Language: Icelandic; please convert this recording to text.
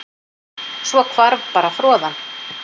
Svo hvarf bara froðan